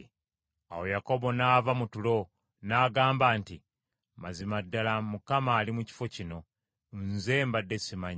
Awo Yakobo n’ava mu tulo n’agamba nti, “Mazima ddala Mukama ali mu kifo kino, nze mbadde ssimanyi.”